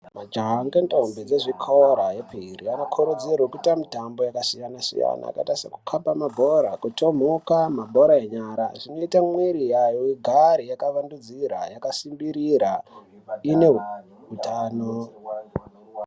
Majaha ngendombi dzezvikora yepiri anokurudzirwa kuite mitambo yakasiyana-siyana, sekukaba mabhora, kutomhuka, mabhora enyara zvinoita mwiri yayo igare yakavandudzira yakasimbirira ine hutano.